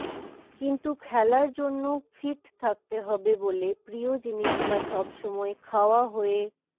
কিন্তু খেলার জন্য ফিট থাকতে হবে বলে প্রিয় জিনিসটা সব সময় খাওয়া হয়ে